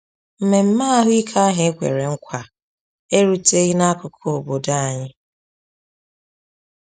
Mmemme ahụike ahụ ekwere nkwa eruteghị n’akụkụ obodo anyị.